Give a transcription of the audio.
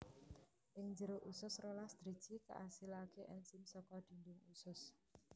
Ing njero usus rolas driji kaasilaké ènzim saka dhindhing usus